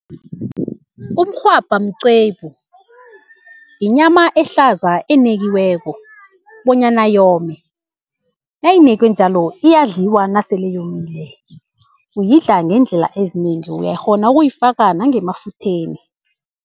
Umrhwabha mqwebu, yinyama ehlaza enekiweko bonyana yome. Nayinekwe njalo iyadliwa nasele yomile, uyidla ngeendlela ezinengi uyakghona ukuyifaka nangemafutheni.